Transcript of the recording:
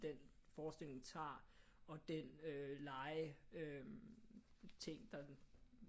Den forestilling tager og den øh leje ting der